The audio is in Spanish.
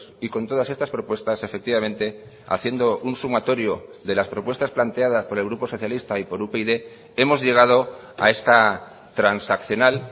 y con todas estas propuestas efectivamente haciendo un sumatorio de las propuestas planteadas por el grupo socialista y por upyd hemos llegado a esta transaccional